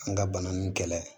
An ka bana ninnu kɛlɛ